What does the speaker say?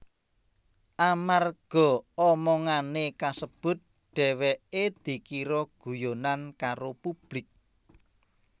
Amarga omongané kasebut dheweké dikira guyonan karo publik